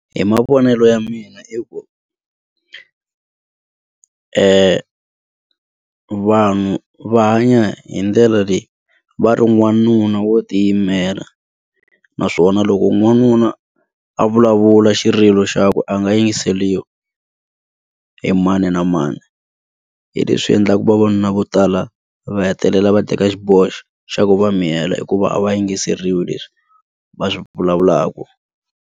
Hi mavonelo ya mina i ku vanhu va hanya hi ndlela leyi va ri n'wanuna wo ti yimela naswona loko n'wanuna a vulavula xirilo xakwe a nga yingiseriwi hi mani na mani hi leswi endlaka vavanuna vo tala va hetelela va teka xiboho lexi xa ku va miyela hikuva a va yingiseriwi leswi va swi vulavulaka.